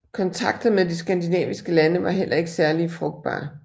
Kontakter med de skandinaviske lande var heller ikke særlig frugtbare